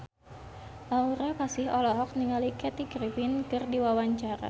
Aura Kasih olohok ningali Kathy Griffin keur diwawancara